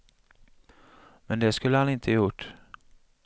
Men det skulle han inte gjort.